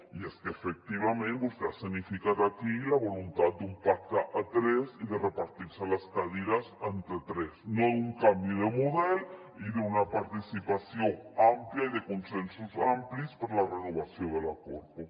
i és que efectivament vostè ha escenificat aquí la voluntat d’un pacte a tres i de repartir·se les cadires entre tres no d’un canvi de model i d’una participació àmplia i de consensos amplis per a la renovació de la corpo